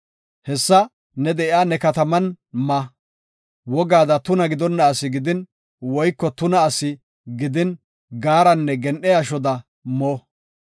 Hessa ne de7iya ne kataman ma; wogaada tuna gidonna asi gidin woyko tuna asi gidin gaaranne gen7e ashoda mo.